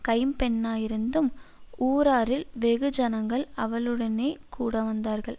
கைம்பெண்ணாயிருந்தும் ஊராரில் வெகு ஜனங்கள் அவளுடனேகூட வந்தார்கள்